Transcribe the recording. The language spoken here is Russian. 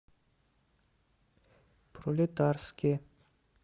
пролетарске